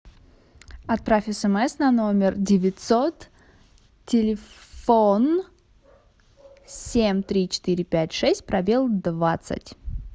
отправь смс на номер девятьсот телефон семь три четыре пять шесть пробел двадцать